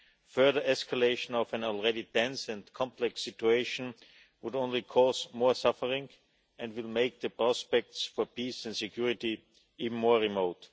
Further escalation of an already tense and complex situation would only cause more suffering and will make the prospects for peace and security even more remote.